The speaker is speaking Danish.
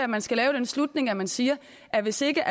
man skal lave den slutning at man siger at hvis ikke